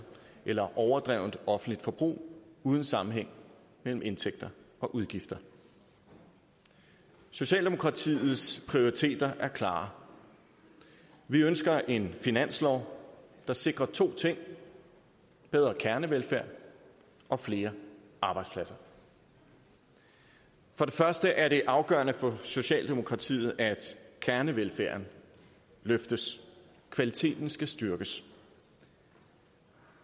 eller overdrevent offentligt forbrug uden sammenhæng mellem indtægter og udgifter socialdemokratiets prioriteter er klare vi ønsker en finanslov der sikrer to ting bedre kernevelfærd og flere arbejdspladser for det første er det afgørende for socialdemokratiet at kernevelfærden løftes kvaliteten skal styrkes